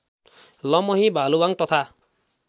लमही भालुवाङ तथा